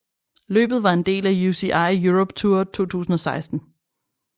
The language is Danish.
Løbet var en del af UCI Europe Tour 2016